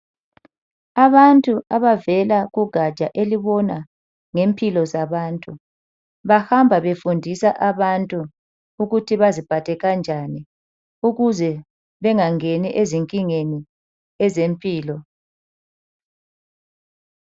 Abantu abavela kugatsha elubona ngempilo zabantu bahamba befundisa abantu ukuthi baziphathe kanjani ukuze bengangeni ezinkingeni ezempilo.